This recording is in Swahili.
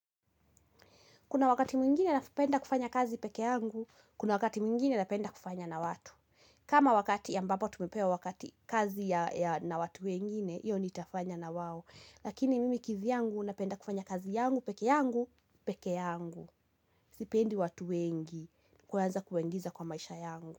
Kuna wakati mwingine napenda kufanya kazi peke yangu, kuna wakati mwingine napenda kufanya na watu. Kama wakati ambapo tumepewa wakati kazi ya na watu wengine, iyo nitafanya na wao. Lakini mimi kivyangu napenda kufanya kazi yangu, pekee yangu, pekee yangu. Sipendi watu wengi, kwanza kuwaingiza kwa maisha yangu.